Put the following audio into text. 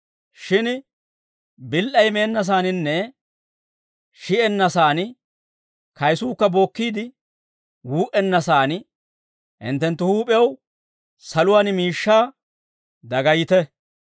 Shin bil"ay meennasaaninne shi'enna saan, kayisuukka bookkiide wuu"enna saan hinttenttu huup'iyaw saluwaan miishshaa dagayite.